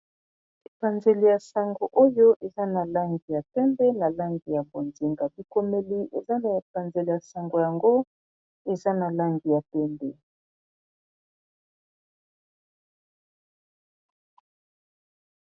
Epanzeli ya sango oyo eza na langi ya pembe na langi ya bonzinga bikomeli eza na epanzeli ya sango yango eza na langi ya pembe.